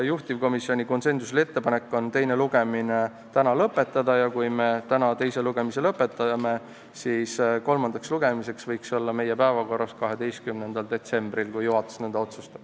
Juhtivkomisjoni konsensuslik ettepanek on teine lugemine täna lõpetada ja kui me selle lõpetame, siis võiks see kolmandaks lugemiseks olla meie päevakorras 12. detsembril, kui juhatus nõnda otsustab.